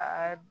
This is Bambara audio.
Aa